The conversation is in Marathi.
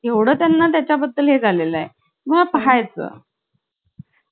आणि ती भोपळ्याची गोष्ट होती माहिती आहे? भोपळ्या ची कविता माहिती आहे? भोपळा गेला पोटात.